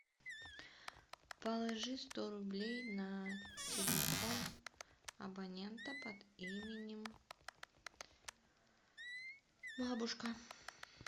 положи сто рублей на телефон абонента под именем бабушка